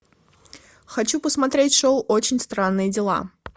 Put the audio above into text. хочу посмотреть шоу очень странные дела